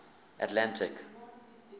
atlantic